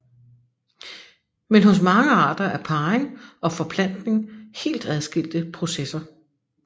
Men hos mange arter er parring og forplantning helt adskilte processer